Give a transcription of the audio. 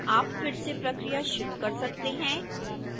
आप फिर से प्रक्रिया शुरू कर सकते हैं